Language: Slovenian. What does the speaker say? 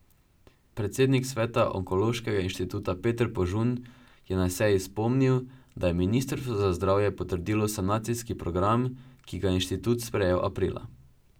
Predsednik sveta onkološkega inštituta Peter Požun je na seji spomnil, da je ministrstvo za zdravje potrdilo sanacijski program, ki ga je inštitut sprejel aprila.